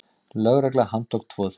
Lögregla handtók tvo þeirra.